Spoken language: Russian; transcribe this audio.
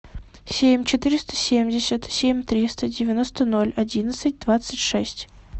семь четыреста семьдесят семь триста девяносто ноль одиннадцать двадцать шесть